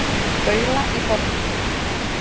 Baula í Borgarfirði.